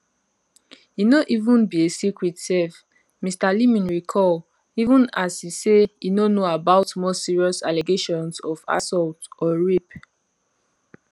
e no even be a secret sef mr leeming recall even as e say e no know about more serious allegations of assault or rape